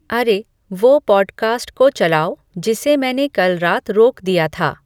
अरे वो पॉडकास्ट को चलाओ जिसे मैंने कल रात रोक दिया था